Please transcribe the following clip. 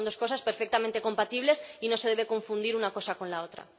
Creo que son dos cosas perfectamente compatibles y no se debe confundir una cosa con la otra.